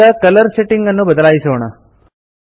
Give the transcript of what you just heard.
ಈಗ colour setting ಅನ್ನು ಬದಲಾಯಿಸೋಣ